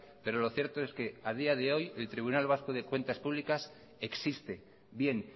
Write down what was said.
pero lo cierto es que a día de hoy el tribunal vasco de cuentas públicas existe bien